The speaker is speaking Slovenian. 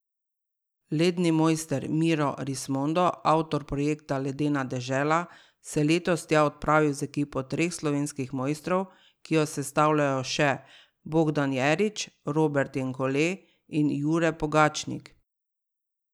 Ledni mojster Miro Rismondo, avtor projekta Ledena dežela, se je letos tja odpravil z ekipo treh slovenskih mojstrov, ki jo sestavljajo še Bogdan Jerič, Robert Jenkole in Jure Pogačnik.